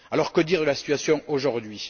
Alors que dire de la situation aujourd'hui?